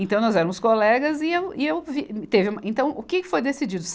Então nós éramos colegas e eu, e eu, vi, teve uma, então o que foi decidido?